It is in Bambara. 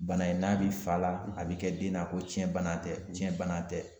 Bana in n'a bɛ fa la a bɛ kɛ den na ko tiɲɛ bana tɛ tiɲɛ bana tɛ.